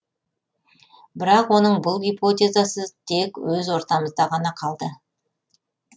бірақ оның бұл гипотезасы тек өз ортамызда ғана қалды